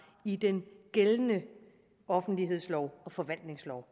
i den gældende offentlighedslov og forvaltningslov